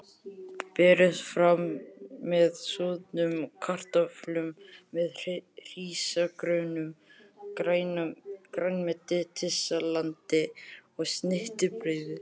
Berið fram með soðnum kartöflum eða hrísgrjónum, grænmetissalati og snittubrauði.